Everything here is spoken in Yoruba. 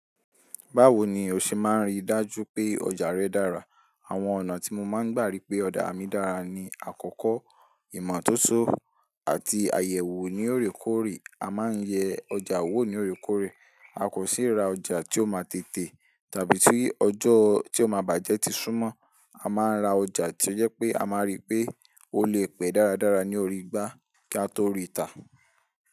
Báwo ni o ṣe máa ń rí dájú pé ọjà rẹ dára? Àwọn ọ̀nà tí mo máa ń gbà rí pé ọjà mi dára ni àkọ́kọ́ ìmọ̀tótó àti àyẹ̀wò ní òrékòórè. A máa ń yẹ ọjà wò ní òrékòórè. A kò sì ra ọjà tí ó ma tètè tàbí tí ọjọ́ tí ó máa bàjẹ́ ti súnmọ́. A máa ń ra ọjà tí ó jẹ́ pé a máa rí pé ó lè pẹ́ dáradára ní orí igbá kí a tó rí ìtà.